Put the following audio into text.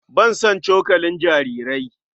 Ban san cokalin jarirai.